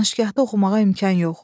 Danışgahda oxumağa imkan yox.